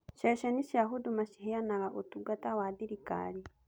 Ceceni cia Huduma ciheanaga ũtungata wa thirikari.